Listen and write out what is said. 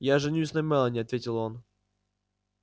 я женюсь на мелани ответил он